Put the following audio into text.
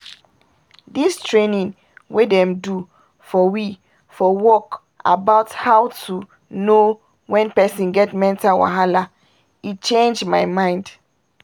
dis training wey dem do for we for work about how to know when person get mental wahala e change my mind